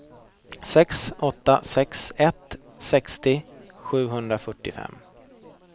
sex åtta sex ett sextio sjuhundrafyrtiofem